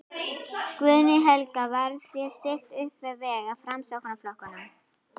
Guðný Helga: Var þér stillt uppvið vegg af Framsóknarflokknum?